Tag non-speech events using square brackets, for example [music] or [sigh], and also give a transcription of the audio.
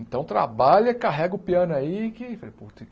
Então trabalha, carrega o piano aí que [unintelligible]